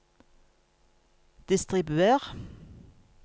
distribuer